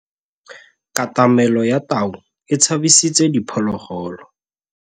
Katamêlô ya tau e tshabisitse diphôlôgôlô.